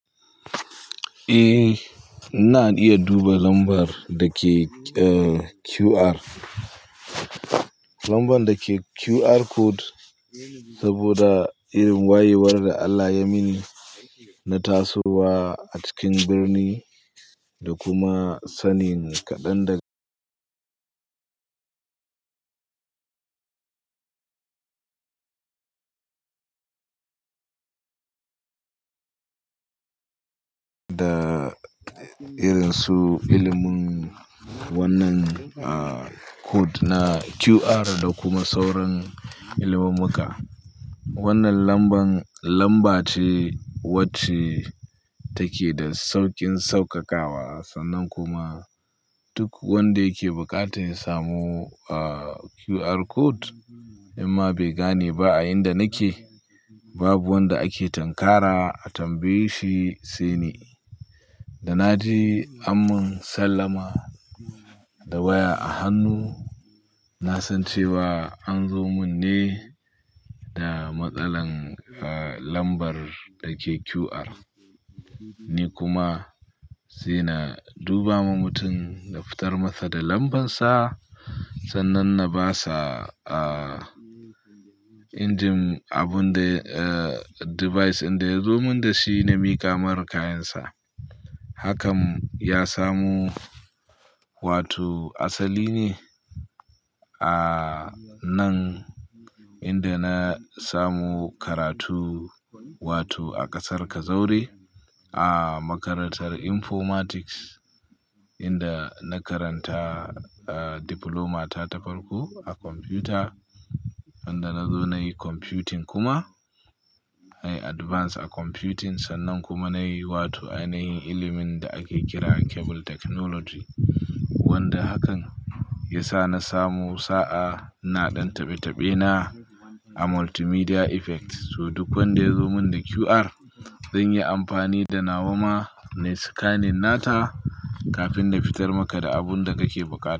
Eh, ina iya duba lambar da ke QR. Lambar da ke QR code saboda irin wayewar da Allah ya mini na tasowa a cikin birni da kuma sanin kaɗan daga da irin su ilimin wannan a code na QR da kuma sauran ilimummuka. Wannan lambar, lamba ce wacce take da sauƙin saukakawa sannan kuma duk wanda yake buƙatar ya samu QR code in ma bai gane ba a inda nake, babu wanda ake tunkara a tambaye shi, sai ni. Da na ji ammun sallama da waya a hannu na san cewa an zo mun ne da matsalar lambar da ke QR. Ni kuma sai na duba ma mutum na fitar masa da lambarsa sannan na ba sa a injin abun da device din da ya zo mun da shi na miƙamar kayansa. Hakan ya samo, wato asali ne. A nan inda na samo karatu, wato a ƙasar Kazaure a makarantar Informatics inda na karanta Diploma ta ta farko a kwamfuyuta. Inda na zo na yi Computing kuma na yi advanced a Computing sannan kuma na yi wato ainihin ilimin da ake kira Cable Technology. Wanda hakan ya sa na samo sa'a ina ɗan tabe-tabe na a Multimedia Effect. To duk wanda ya zo mun da QR zan yi amfani da na wa ma nayi scanning na ta kafin na fitar maka da abun da kake buƙata.